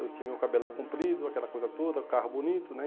Eu tinha meu cabelão comprido, aquela coisa toda, carro bonito, né?